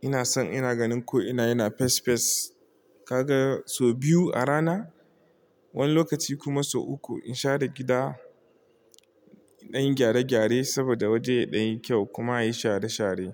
Ina san ina ganin ko ina yana fes fes. Kaga sau biyu a rana, wani lokaci kuma sau uku in share gida, in ɗan yi gyare-gyare saboda waje ya ɗan yi kyau kuma yayi share-share.